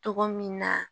Togo min na